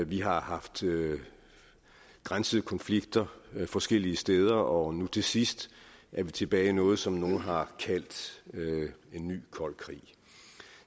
vi har haft grænsekonflikter forskellige steder og nu til sidst er vi tilbage i noget som nogle har kaldt en ny kold krig